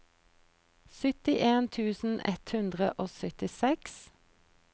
syttien tusen ett hundre og syttiseks